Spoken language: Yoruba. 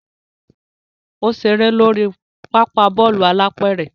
O ṣere lori papa Bọ́ọ̀lù alápẹ̀rẹ̀